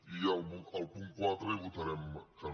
i al punt quatre hi votarem que no